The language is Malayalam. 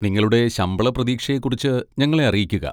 നിങ്ങളുടെ ശമ്പള പ്രതീക്ഷയെക്കുറിച്ച് ഞങ്ങളെ അറിയിക്കുക.